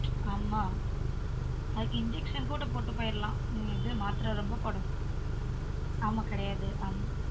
ஆமா அதுக்கு injection கூட பொட்டு பொய்ரலான் மாத்திரை ரொம்ப போட்ரதுக்கு ஆமா கிடையாது ஆமா